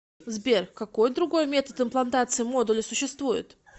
сбер какой другой метод имплантации модуля существует